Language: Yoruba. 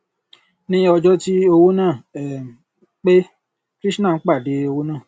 ní ọjọ tí owó náà um pé krishan pàdé owó náà